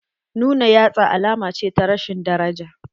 Nuna yatsa alama ce ta rashin daraja.